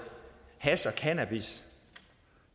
hash og cannabis